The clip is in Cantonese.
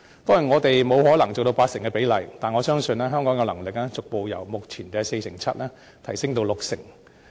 當然，我們不可能做到八成這個比例，但我相信香港有能力逐步由目前的 47% 提升至六成。